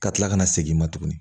Ka kila ka na segin i ma tuguni